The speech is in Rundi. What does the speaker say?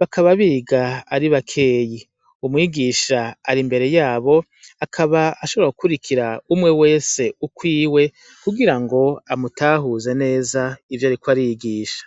bakaba biga ari bakeyi umwigisha ari imbere yabo akaba ashobora gukurikira umwe wese ukwiwe kugira ngo amutahuze neza ivyo ariko arigisha.